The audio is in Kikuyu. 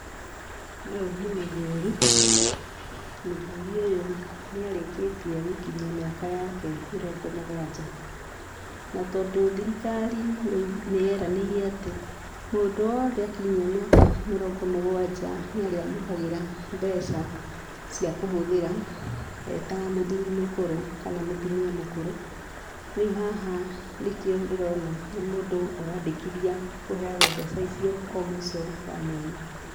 Ũyũ nĩ mũthuri. Mũthuri ũyũ nĩarĩkĩtie gũkinyia mĩaka yake mĩrongo mũgwanja, na tondũ thirikari nĩyeranĩire atĩ mũndũ wothe akinyĩa mĩaka mĩrongo mũgwanja nĩarĩamũkagĩra mbeca cia kũhũthĩra eta mũthuri mũkũrũ kana mũtumia mũkũru. Rĩu haha nĩkĩo ndĩrona nĩ mũndũ ũrandĩkithia kũheagwo mbeca icio o mũico wa mweri.